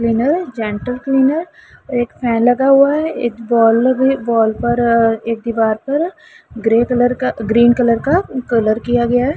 Gentle cleaner एक fan लगा हुआ है एक बाल लगी बाल पर अ एक दीवार पर ग्रे कलर का ग्रीन कलर किया गया है।